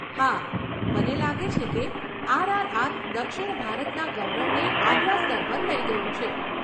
હા, મને લાગે છે કે આરઆરઆર દક્ષિણ ભારતના ગૌરવને આગલા સ્તર પર લઈ ગયું છે.